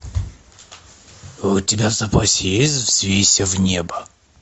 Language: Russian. у тебя в запасе есть взвейся в небо